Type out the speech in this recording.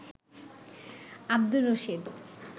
Abdur Rashid